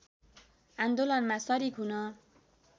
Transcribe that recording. आन्दोलनमा सरिक हुन